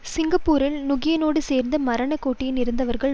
சிங்கப்பூரில் நுகியேனோடு சேர்ந்து மரண கொட்டடியில் இருந்தவர்கள்